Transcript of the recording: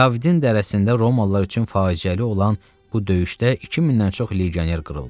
Kavidin dərəsində Romalılar üçün faciəli olan bu döyüşdə 2000-dən çox legioner qırıldı.